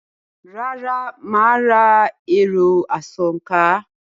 Rárá, mà á ra “ẹ̀rọ- asòǹkà”.